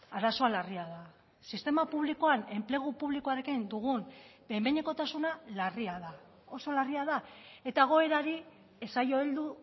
arazoa larria da sistema publikoan enplegu publikoarekin dugun behin behinekotasuna larria da oso larria da eta egoerari ez zaio heldu